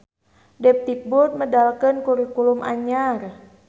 Depdikbud medalkeun kurikulum anyar